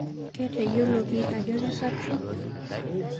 Keteyioloki aajo kesapisho